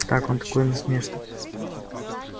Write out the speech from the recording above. да так он такой насмешник